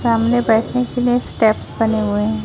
सामने बैठने के लिए स्टेप्स बने हुए हैं।